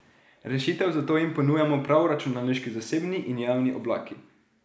Rešitev za to jim ponujajo prav računalniški zasebni in javni oblaki.